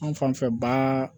An fan fɛ ba